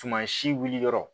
Tuma si wuli yɔrɔ